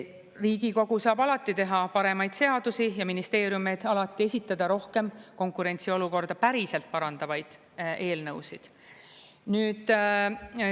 Riigikogu saab alati teha paremaid seadusi ja ministeeriumid alati esitada rohkem konkurentsiolukorda päriselt parandavaid eelnõusid.